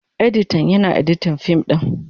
Editan, Yana editin fim din.